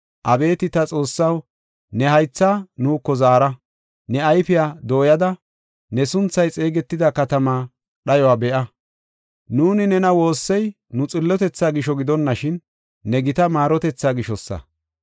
Abeeti ta Xoossaw, ne haythaa nuuko zaara; ne ayfiya dooyada, ne sunthay xeegetida katamaa dhayuwa be7a. Nuuni, nena woossey, nu xillotethaa gisho gidonashin, ne gita maarotethaa gishosa.